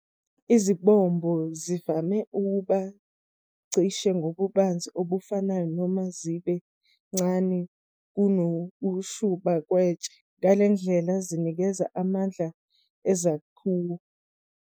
Izimbobo zivame ukuba cishe ngobubanzi obufanayo noma zibe ncane kunokushuba kwetshe, ngaleyo ndlela zinikeze amandla ezakhiwo.